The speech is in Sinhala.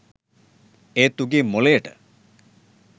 ඒත් උගේ මොළයට